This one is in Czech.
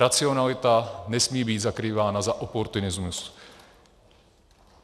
Racionalita nesmí být zakrývána za oportunismus.